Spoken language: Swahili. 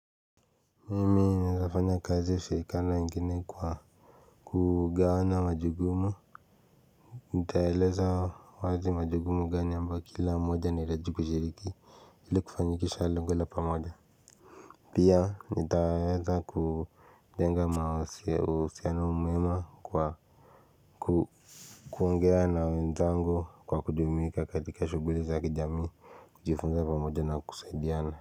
Mimi naezafanya kazi isio ingine kwa kugawanya majukumu nitaeleza wazi majukumu gani ambayo kila mmoja ni rajipu kushiriki ili kufanyikisha lengo la pamoja pia nitaweza kujenga uhusiano mwema kwa kuongea na wenzangu kwa kujumuika katika shughuli za kijamii, kujifunza pamoja na kusaidiana.